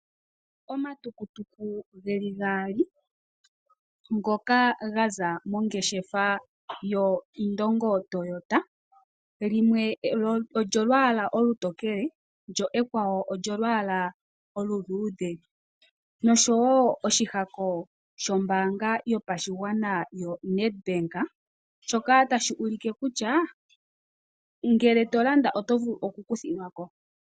Omatukutuku geli gaali ngoka gaza mongeshefa yoIndongo Toyota limwe olyo lwaalwa olutokele ekwawo olwalwa oluluudhe noshowo oshihako shombaanga yopashigwana yoNedbank shoka tashi ulike kutya ngele tolanda oto vulu okukuthilwa ko.